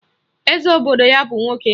Eze obodo ya bụ nwoke